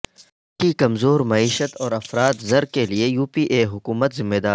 ملک کی کمزور معیشت اور افراط زر کے لئے یو پی اے حکومت ذمہ دار